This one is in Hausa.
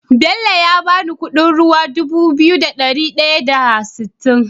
Bello ya bani Ƙudin ruwa Dubu biyu da dari daya da sittin